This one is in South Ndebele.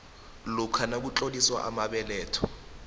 lokha nakutloliswa amabeletho